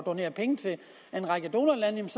donere penge til en række donorlande